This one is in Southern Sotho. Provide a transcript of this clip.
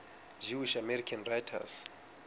jewish american writers